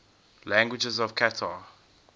languages of qatar